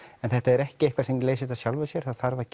en þetta er ekki eitthvað sem leysist af sjálfu sér það þarf að